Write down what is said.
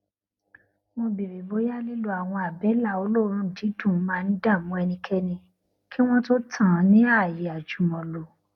mo béèrè bóyá lílo àwọn àbẹlà olóòórùn dídùn máa ń dààmú ẹnikẹni kí wọn tó tàn án ní ààyè àjùmọlò